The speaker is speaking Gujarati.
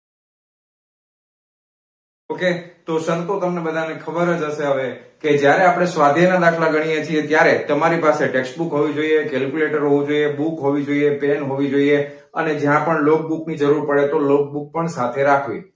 okay તો સંતો તમને બધા ને ખબર જ હસે હવે કે જ્યારે આપણે સ્વધ્યાય ના દાખલા ગણીએ છીએ ત્યારે તમારી પાસે textbook હોવી જોઇયે, calculator હોવુ જોઇયે, book હોવી જોઇયે, pen હોવી જોઇયે અને જ્યા logbook ની જરુર પડે તો logbook પણ સાથે રાખવી.